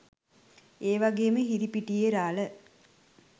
ඒ වගේම හිරිපිටියේ රාළ